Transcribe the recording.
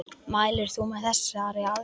Mælir þú með þessari aðgerð?